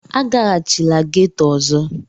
A gaghachila ghetọ ọzọ!